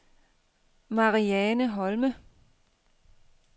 Mariane Holme